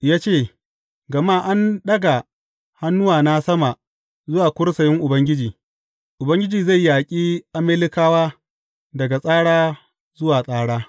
Ya ce, Gama an ɗaga hannuwa sama zuwa kursiyin Ubangiji, Ubangiji zai yaƙi Amalekawa daga tsara zuwa tsara.